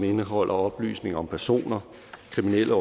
indeholder oplysninger om personer kriminelle